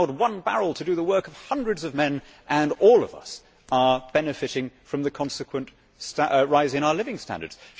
It allowed one barrel to do the work of hundreds of men and all of us are benefiting from the consequent rise in our living standards.